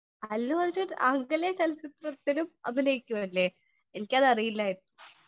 Speaker 1 Allu Arjun ആംഗലേയ ചലച്ചിത്രത്തിലും അഭിനയിക്കും അല്ലേ ? എനിക്കത് അറിയില്ലായിരുന്നു .